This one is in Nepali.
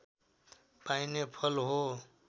पाइने फल हो